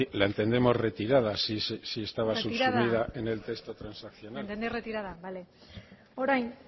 la entendemos retirada si estaba subsumida en el texto transaccional retirada la entendeis retirada vale orain